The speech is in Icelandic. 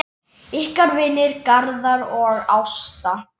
Ykkar vinir, Garðar og Ásta.